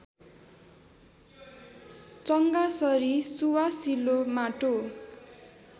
चङ्गासरि सुवासिलो माटो